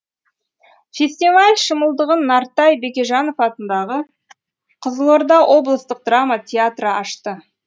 фестиваль шымылдығын нартай бекежанов атындағы қызылорда облыстық драма театры ашты